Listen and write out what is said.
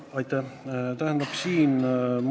Aitäh!